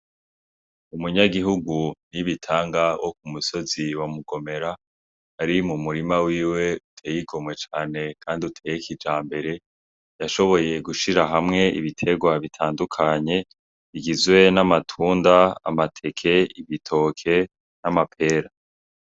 Umunyagihigu Nibitanga , wo kumusozi wa mugomera, ari mumurima wiwe uteye igomwe cane kandi uteye kijambere, yashoboye gushira hamwe ibiterwa bitandukanye bigizwe: n'amatunda ,amateke, ibitoke n'amapera.